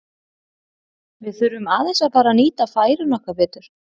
Við þurfum aðeins að fara að nýta færin okkar betur.